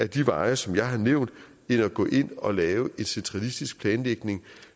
de veje som jeg har nævnt end at gå ind og lave en centralistisk planlægning